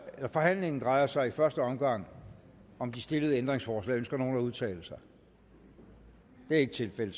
forhandlingen drejer sig i første omgang om de stillede ændringsforslag ønsker nogen at udtale sig det er ikke tilfældet